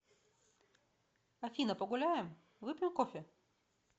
афина погуляем выпьем кофе